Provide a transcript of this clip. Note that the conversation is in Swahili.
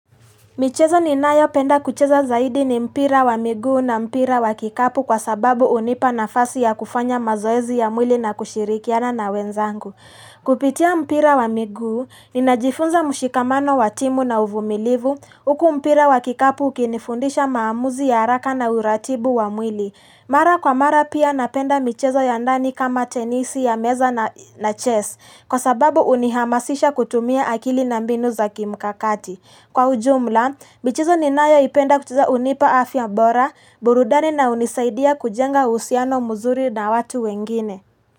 Michezo ninayo penda kucheza zaidi ni mpira wa miguu na mpira wa kikapu kwa sababu hunipa nafasi ya kufanya mazoezi ya mwili na kushirikiana na wenzangu. Kupitia mpira wa miguu, ninajifunza mushikamano wa timu na uvumilivu, uku mpira wa kikapu ukinifundisha maamuzi ya haraka na uratibu wa mwili. Mara kwa mara pia napenda michezo ya ndani kama tenisi ya meza na chess kwa sababu hunihamasisha kutumia akili na mbinu za kimkakati. Kwa ujumla, michezo ninayoipenda kucheza hunipa afya bora, burudani na hunisaidia kujenga uhusiano muzuri na watu wengine.